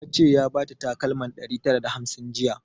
Ya ce ya bata takalma ɗari tara da hamsin jiya